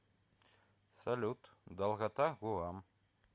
салют долгота гуам